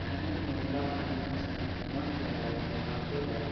Finance Mahindra finance है मस्त लग रहा है यार मार्केट है।